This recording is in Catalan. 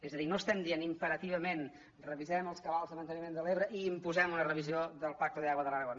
és a dir no estem dient imperativament revisem els cabals de manteniment de l’ebre i imposem una revisió del pacto del agua de l’aragó